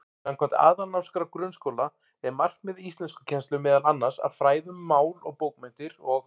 Samkvæmt Aðalnámskrá grunnskóla er markmið íslenskukennslu meðal annars að fræða um mál og bókmenntir og.